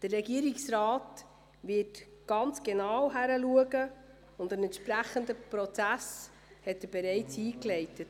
Der Regierungsrat wird sehr genau hinsehen und hat den entsprechenden Prozess bereits eingeleitet.